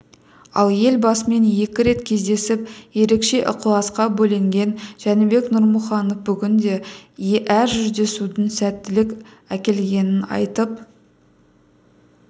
ал елбасымен екі рет кездесіп ерекше ықыласқа бөленген жәнібек нұрмұханов бүгінде әр жүздесудің сәттілік әкелгенін айтып